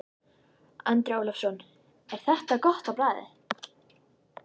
Andri Ólafsson: Er þetta gott á bragðið?